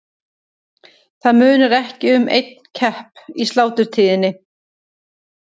Það munar ekki um einn kepp í sláturtíðinni.